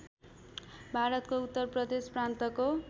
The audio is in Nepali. भारतको उत्तर प्रदेश प्रान्तको